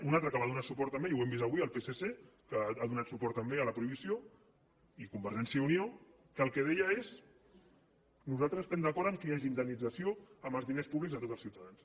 un altre que va donar suport també i ho hem vist avui el psc que ha donat suport també a la prohibició i convergència i unió que el que deia és nosaltres estem d’acord que hi hagi indemnització amb els diners públics de tots els ciutadans